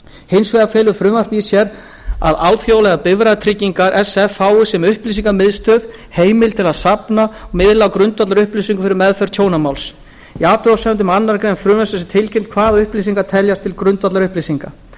hins vegar felur frumvarpið í sér að alþjóðlegar bifreiðatryggingar sf fá sem upplýsingamiðstöð heimild til að safna og miðla grundvallarupplýsingum fyrir meðferð tjónamáls í athugasemdum með annarri grein frumvarpsins er tilgreint hvaða upplýsingar teljist til grundvallarupplýsinga